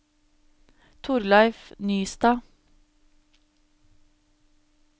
Thorleif Nystad